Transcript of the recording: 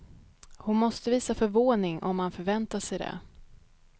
Hon måste visa förvåning om han förväntade sig det.